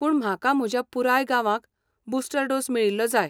पूण म्हाका म्हज्या पुराय गांवाक बुस्टर डोस मेळिल्लो जाय.